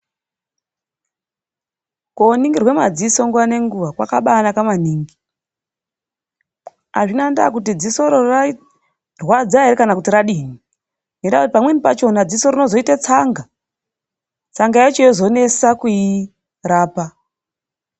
Koningirwa madziso nguva ngenguva kwakabanaka maningi. Azvina ndaa kuti dziso iroro rairwadza here kana kuti radii, ngenda yekuti pamweni pacho dziso rinozoita tsanga ,tsanga yacho yozonetsa kuirapa.